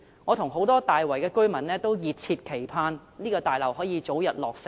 我和大圍很多居民均熱切期盼這座大樓可以早日落成。